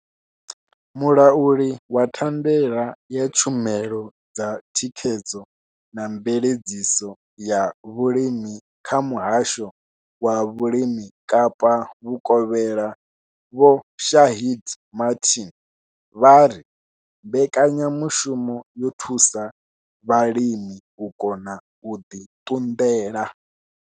Mulauli wa thandela ya tshumelo dza thikhedzo na mveledziso ya vhulimi kha Muhasho wa Vhulimi Kapa Vhukovhela Vho Shaheed Martin vha ri mbekanyamushumo yo thusa vhalimi u kona u ḓi ṱunḓela.